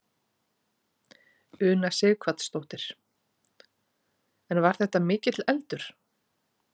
Una Sighvatsdóttir: En var þetta mikill eldur?